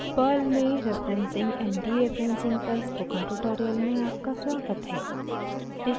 perl में referencing and dereferencing पर spoken tutorials में आपका स्वागत है